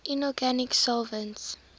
inorganic solvents